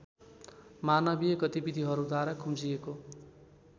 मानवीय गतिविधिहरूद्वारा खुम्चिएको